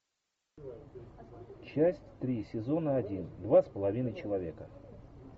часть три сезона один два с половиной человека